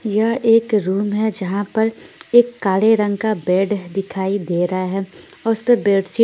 यह एक रूम है जहाँ पर एक काले रंग का बेड दिखाई दे रहां है उस पर बेड शिट--